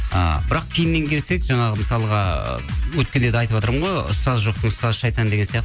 ы бірақ кейіннен келсек жаңағы мысалға өткенде де айтыватырмын ғой ұстазы жоқтың ұстазы шайтан деген